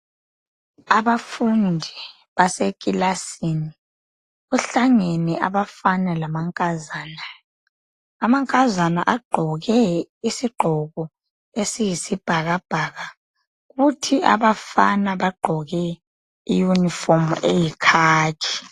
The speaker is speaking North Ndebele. Abafundi basekilasini kuhlangene abafna lamankazana amankazana agqoke isigqoko esiyisibhakabhaka kuthi abafana bagqoke iyunifomu eyikhakhi.